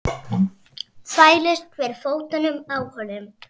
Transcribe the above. Þvælist fyrir fótunum á honum.